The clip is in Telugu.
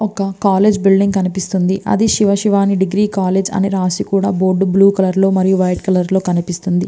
ఒక కాలేజీ బిల్డింగ్ కనిపిస్తుంది అది శివ శివాని డిగ్రీ కాలేజీ అని రాసి బోర్డు బ్లూ కలర్ లో మరియు వైట్ కలర్ లో కనిపిస్తుంది .